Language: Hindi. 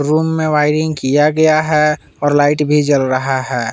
रूम में वायरिंग किया गया है और लाइट भी जल रहा है।